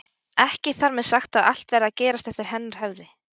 Ekki þar með sagt að allt verði að gerast eftir hennar höfði.